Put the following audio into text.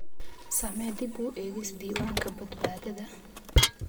Samee dib u eegis diiwaanka badbaadada.